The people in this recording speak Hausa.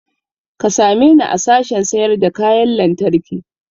Ka same ni a sashen sayar da kayan lantarki